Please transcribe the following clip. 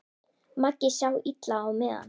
Maggi sá illa á miðann.